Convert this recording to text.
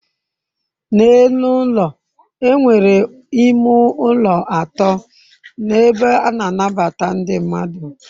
n'elu ulo e nwere ime ulo ato na ebe a na anabata ndi mmadu